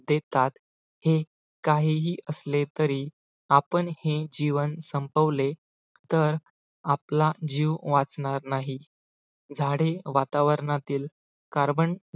देतात हे काहीही असले तरी आपण हे जीवन संपवले तर आपला जीव वाचणार नाही झाडे वातावरणातील carbon